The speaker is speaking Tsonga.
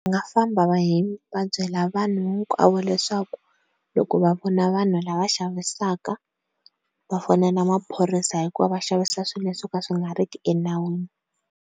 Va nga famba va va byela vanhu hinkwavo leswaku loko va vona vanhu lava xavisaka va fonela maphorisa hikuva va xavisa swilo swo ka swi nga riki enawini.